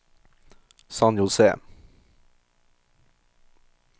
San José